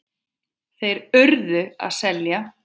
Þeir URÐU að selja.